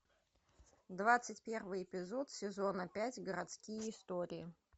двадцать первый эпизод сезона пять городские истории